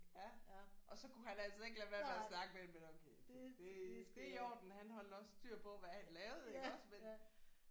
Ja og så kunne han altså ikke lade være med at snakke med dem men okay det det er i orden han holdt også styr på hvad han lavede iggås men